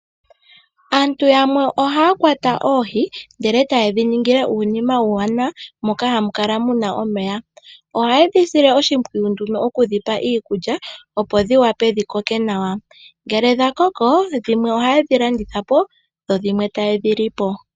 Aantu yamwe ohaya kwata oohi ndele taye dhi ningile uunima uuwanawa moka hamu kala muna omeya. Ohaye dhi sile oshimpwiyu nduno okudhipa iikulya opo dhi wape dhi koke nawa, ngele dha koko dhimwe ohaye dhi landitha po dho dhimwe ta yedhi lipo.